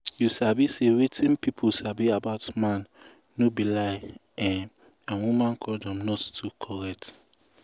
you sabi say wetin pipu sabi about man no be lie[um]and woman condom not too correct